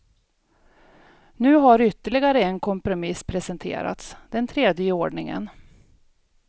Nu har ytterligare en kompromiss presenterats, den tredje i ordningen.